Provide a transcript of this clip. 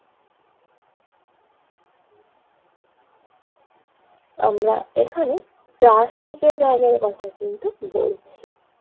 আমরা এখানে প্লাস্টিকের ব্যাগের কথা কিন্তু বলছি।